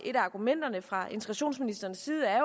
et af argumenterne fra integrationsministerens side er